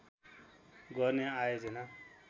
गर्ने आयोजना